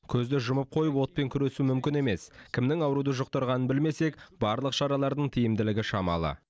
көзді жұмып қойып отпен күресу мүмкін емес кімнің ауруды жұқтырғанын білмесек барлық шаралардың тиімділігі шамалы